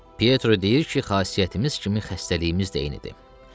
Pietro deyir ki, xasiyyətimiz kimi xəstəliyimiz də eynidir.